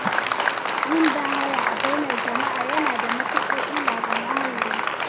Yin bahaya a bainar jama'a yana da matukar illa ga muhalli.